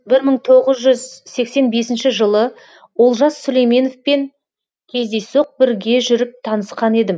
бір мың тоғыз жүз сексен бесінші жылы олжас сүлейменовпен кездейсоқ бірге жүріп танысқан едім